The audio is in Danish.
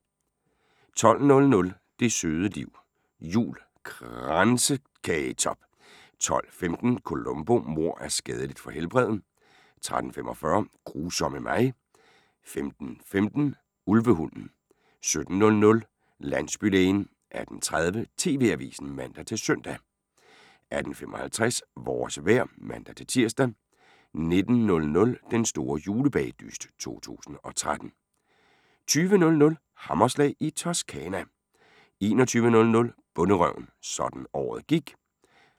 12:00: Det søde liv jul – Kransekagetop 12:15: Columbo: Mord er skadeligt for helbredet 13:45: Grusomme mig 15:15: Ulvehunden 17:00: Landsbylægen 18:30: TV-avisen (man-søn) 18:55: Vores vejr (man-tir) 19:00: Den store julebagedyst 2013 20:00: Hammerslag i Toscana 21:00: Bonderøven – sådan gik året ...